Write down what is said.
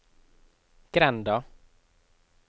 grenda